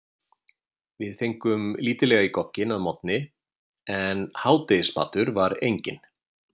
Við fengum lítillega í gogginn að morgni en hádegismatur var enginn.